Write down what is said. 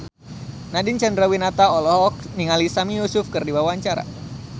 Nadine Chandrawinata olohok ningali Sami Yusuf keur diwawancara